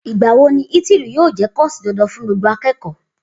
Igbàwó ní Itírì yio jẹ kọsí dandan fún gbogbo àkẹkọ?